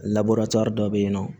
dɔ bɛ yen nɔ